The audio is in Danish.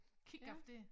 Kiggaf dér